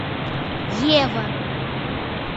ева